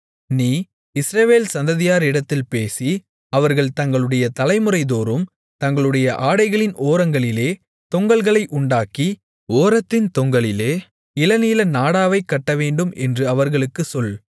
நீ இஸ்ரவேல் சந்ததியாரிடத்தில் பேசி அவர்கள் தங்களுடைய தலைமுறைதோறும் தங்களுடைய ஆடைகளின் ஓரங்களிலே தொங்கல்களை உண்டாக்கி ஓரத்தின் தொங்கலிலே இளநீல நாடாவைக் கட்டவேண்டும் என்று அவர்களுக்குச் சொல்